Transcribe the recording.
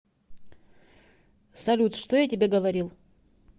салют что я тебе говорил